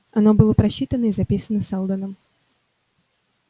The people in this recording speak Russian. оно было просчитано и записано сэлдоном